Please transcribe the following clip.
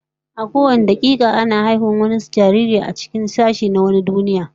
A kowane dakika da muke ciki a daidai wannan lokacin ana can ana haihuwar wani jaririn a wani sashen duniyar.